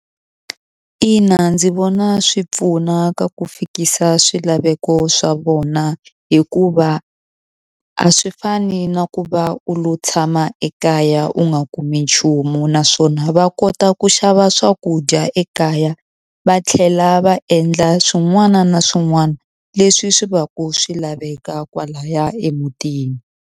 Ina ndzi vona swi pfuna ka ku fikisa swilaveko swa vona hikuva a swi fani na ku va u lo tshama ekaya u nga kumi nchumu naswona va kota ku xava swakudya ekaya va tlhela va endla swin'wana na swin'wana leswi swi va ku swi laveka kwalaya emutini.